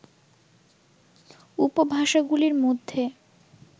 উপভাষাগুলির মধ্যে